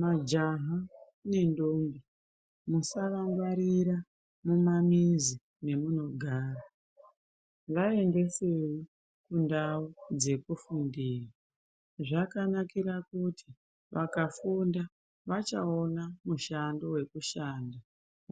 Majaha nendombi musavangwarira mumamizi mamunogara vaendedei kundau dzekufundira zvakanakira kuti vakafunda vachaona mushando wekushanda